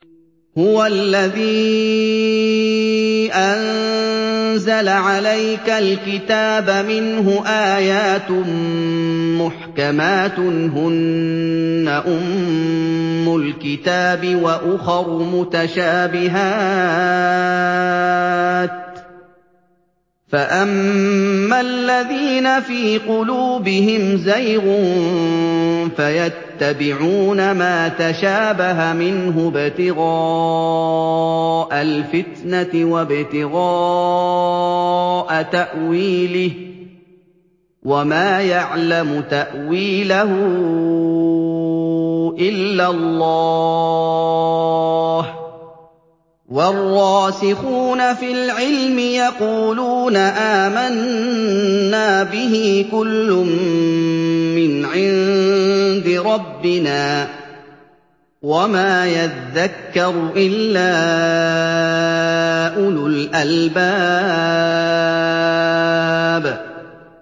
هُوَ الَّذِي أَنزَلَ عَلَيْكَ الْكِتَابَ مِنْهُ آيَاتٌ مُّحْكَمَاتٌ هُنَّ أُمُّ الْكِتَابِ وَأُخَرُ مُتَشَابِهَاتٌ ۖ فَأَمَّا الَّذِينَ فِي قُلُوبِهِمْ زَيْغٌ فَيَتَّبِعُونَ مَا تَشَابَهَ مِنْهُ ابْتِغَاءَ الْفِتْنَةِ وَابْتِغَاءَ تَأْوِيلِهِ ۗ وَمَا يَعْلَمُ تَأْوِيلَهُ إِلَّا اللَّهُ ۗ وَالرَّاسِخُونَ فِي الْعِلْمِ يَقُولُونَ آمَنَّا بِهِ كُلٌّ مِّنْ عِندِ رَبِّنَا ۗ وَمَا يَذَّكَّرُ إِلَّا أُولُو الْأَلْبَابِ